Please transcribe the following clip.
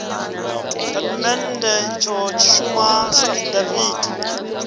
tshitatamennde itsho tshi shuma sa afidaviti